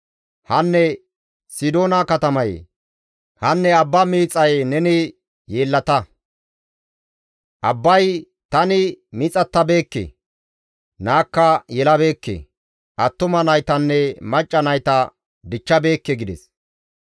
Hanne Sidoona katamayee! Hanne abba miixaye neni yeellata; abbay, «Tani miixatabeekke; naakka yelabeekke; attuma naytanne macca nayta dichchabeekke» gides.